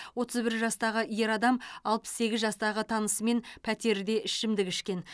отыз бір жастағы ер адам алпыс сегіз жастағы танысымен пәтерде ішімдік ішкен